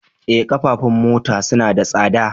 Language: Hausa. Eh, ƙafafun mota suna da tsada